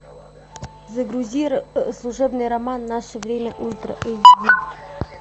загрузи служебный роман наше время ультра эйч ди